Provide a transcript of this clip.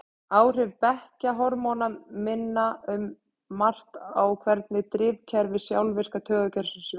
Áhrif beggja hormóna minna um margt á hvernig drifkerfi sjálfvirka taugakerfisins vinnur.